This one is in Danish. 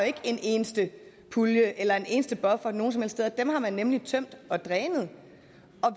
ikke en eneste pulje eller en eneste buffer noget som helst sted dem har man nemlig tømt og drænet